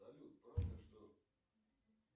салют правда что